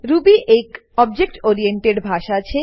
Ruby એક object oriented ભાષા છે